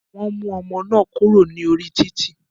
Wọn mú ọmọ náà kúrò ní orí títì.